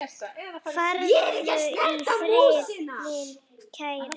Farðu í friði, minn kæri.